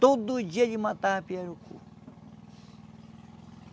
Todo dia ele matava pirarucu.